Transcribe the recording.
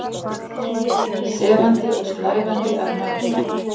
Sefandi og slævandi að mati